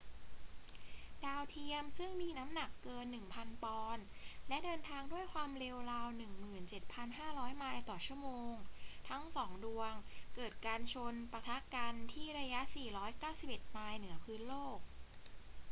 ดาวเทียมซึ่งมีน้ำหนักเกิน 1,000 ปอนด์ และเดินทางด้วยความเร็วราว 17,500 ไมล์ต่อชั่วโมงทั้งสองดวงเกิดการชนปะทะกันที่ระยะ 491 ไมล์เหนือพื้นโลก